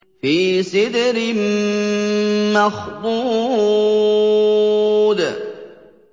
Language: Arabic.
فِي سِدْرٍ مَّخْضُودٍ